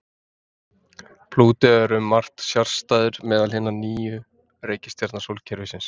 Plútó er um margt sérstæður meðal hinna níu reikistjarna sólkerfisins.